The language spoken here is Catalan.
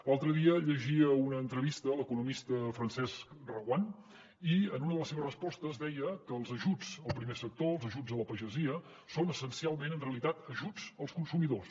l’altre dia llegia una entrevista a l’economista francesc reguant i en una de les seves respostes deia que els ajuts al primer sector els ajuts a la pagesia són essencialment en realitat ajuts als consumidors